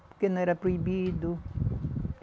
Porque não era proibido.